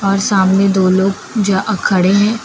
और सामने दो लोग जा खड़े हैं।